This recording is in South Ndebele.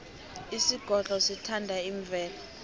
isigodlo sithanda imvelo